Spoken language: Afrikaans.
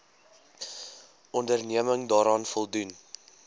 onderneming daaraan voldoen